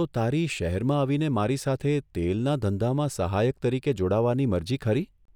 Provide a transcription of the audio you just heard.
તો તારી શહેરમાં આવીને મારી સાથે તેલના ધંધામાં સહાયક તરીકે જોડાવાની મરજી ખરી?